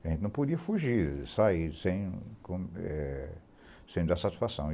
A gente não podia fugir, sair sem como é... Sem dar satisfação.